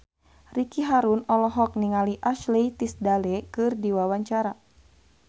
Ricky Harun olohok ningali Ashley Tisdale keur diwawancara